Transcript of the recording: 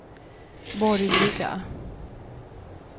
borgerliga